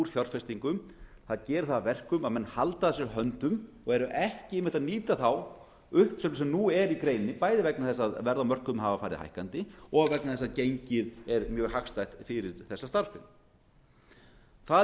fjárfestingum það gerir það að verkum að menn halda að sér höndum og eru ekki einmitt að nýta þá uppsögn sem nú er í greininni bæði vegna þess að verð á mörkuðum hafa farið hækkandi og vegna þess að gengið er mjög hagstætt fyrir þessa starfsemi það